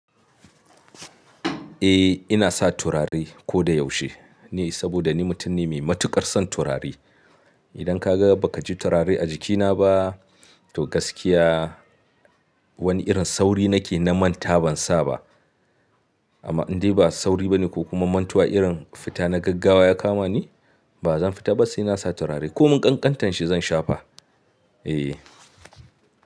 Eh ina sa turare ko da yaushe ne, saboda ni mutum ne mai matukar son turare. Idan ka ga baka ji turare a jikina ba, to gaskiya wani irin sauri nake na manta ban sa ba. Amma in dai ba sauri bane ko kuma mantuwa irin fita na gaggawa ya kama ni, ba zan fita ba sai na sa turare ko mun ƙanƙantan shi zan shafa.